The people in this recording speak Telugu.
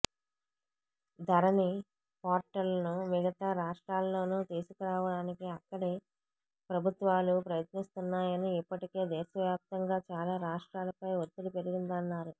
ధరణి పోర్టల్ను మిగతా రాష్ట్రాల్లోనూ తీసుకురావడానికి అక్కడి ప్రభుత్వాలు ప్రయత్నిస్తున్నాయని ఇప్పటికే దేశవాప్తంగా చాలా రాష్ట్రాలపై ఒత్తిడి పెరిగిందన్నారు